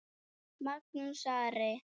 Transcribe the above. Magnús Ari.